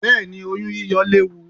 Bẹ́ẹ̀ni, oyún yíyọ léwu.